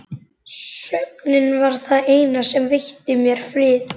Svefninn var það eina sem veitti mér frið.